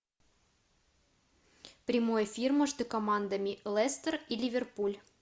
прямой эфир между командами лестер и ливерпуль